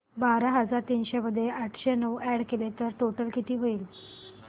बारा हजार तीनशे मध्ये आठशे नऊ अॅड केले तर टोटल किती होईल